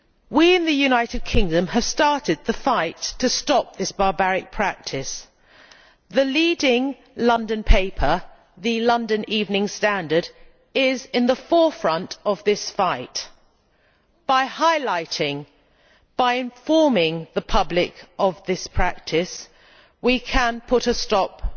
We in the United Kingdom have started the fight to stop this barbaric practice. The leading London paper, the London Evening Standard, is in the forefront of this fight. By highlighting and informing the public of this practice, we can put a stop to